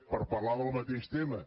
per parlar del mateix tema